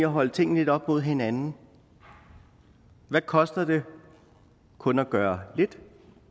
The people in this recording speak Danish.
holde tingene lidt op mod hinanden hvad koster det kun at gøre lidt